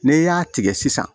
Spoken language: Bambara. N'i y'a tigɛ sisan